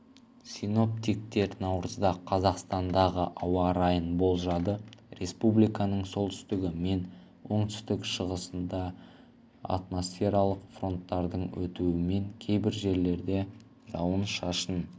синоптиктер наурызда қазақстандағы ауа райын болжады республиканың солтүстігі мен оңтүстік-шығысында атмосфералық фронттардың өтуімен кейбір жерлерде жауын-шашын